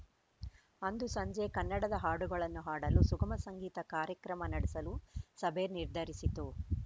ಅಂದು ಸಂಜೆ ಕನ್ನಡದ ಹಾಡುಗಳನ್ನು ಹಾಡಲು ಸುಗಮ ಸಂಗೀತ ಕಾರ್ಯಕ್ರಮ ನಡೆಸಲು ಸಭೆ ನಿರ್ಧರಿಸಿತು